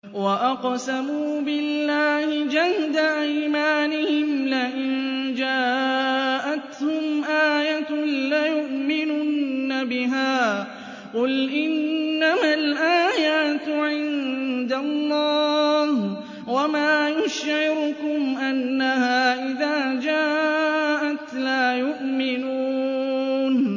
وَأَقْسَمُوا بِاللَّهِ جَهْدَ أَيْمَانِهِمْ لَئِن جَاءَتْهُمْ آيَةٌ لَّيُؤْمِنُنَّ بِهَا ۚ قُلْ إِنَّمَا الْآيَاتُ عِندَ اللَّهِ ۖ وَمَا يُشْعِرُكُمْ أَنَّهَا إِذَا جَاءَتْ لَا يُؤْمِنُونَ